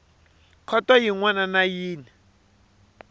khoto yin wana na yin